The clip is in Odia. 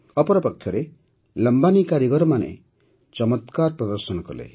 ଅପରପକ୍ଷରେ ଲମ୍ବାନୀ କାରିଗରମାନେ ମଧ୍ୟ ଚମତ୍କାର ପ୍ରଦର୍ଶନ କଲେ